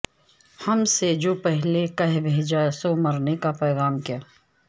ہم سے جو پہلے کہہ بھیجا سو مرنے کا پیغام کیا